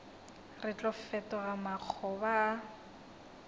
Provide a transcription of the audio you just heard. re tlo fetoga makgoba a